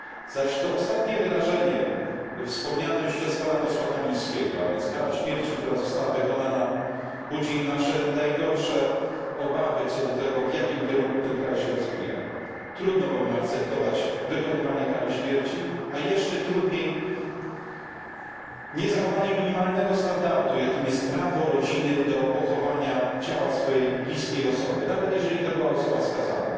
Zaś to ostatnie wydarzenie wspomniane już przez pana posła Kamińskiego, a więc kara śmierci, która została wykonana, budzi nasze najgorsze obawy, co do tego, w jakim kierunku ten kraj się rozwija. Trudno bowiem akceptować wykonywanie kary śmierci, a jeszcze trudniej niezachowanie minimalnego standardu, jakim jest prawo rodziny do pochowania ciała swojej bliskiej osoby, nawet jeśli była to osoba skazana.